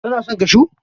Kana son kashu?